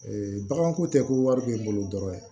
bagan ko tɛ ko wari bɛ n bolo dɔrɔn